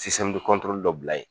dɔ bila yen